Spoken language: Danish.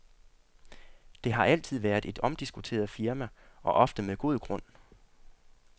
Det har altid været et omdiskuteret firma og ofte med god grund.